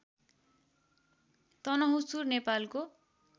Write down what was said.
तनहुँसुर नेपालको